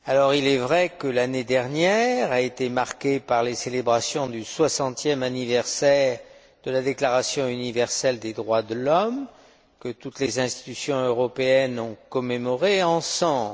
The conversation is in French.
Il est vrai que l'année dernière a été marquée par les célébrations du soixantième anniversaire de la Déclaration universelle des droits de l'homme, que toutes les institutions européennes ont commémoré ensemble.